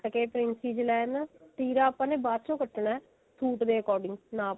ਕੱਟ ਕੇ princess ਲਾਈਨਾ ਤੀਰਾ ਆਪਾਂ ਨੇ ਬਾਅਦ ਵਿੱਚ ਕੱਟਣਾ ਸੂਟ ਦੇ according ਨਾਪ ਆਲੇ